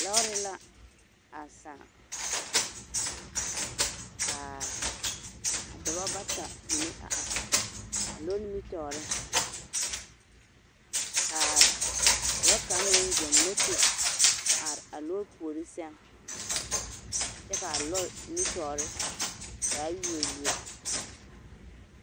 Lɔɔre la a sãã k'a dɔbɔ bata mine a are a lɔɔre nimitɔɔreŋ k'a dɔɔ kaŋ meŋ zoŋ moto a are a lɔɔre puori sɛŋ kyɛ k'a lɔɔre nimitɔɔre zaa yuori yuori.